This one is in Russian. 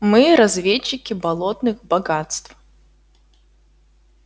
мы разведчики болотных богатств